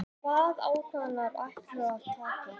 Og hvaða ákvarðanir ætlarðu að taka?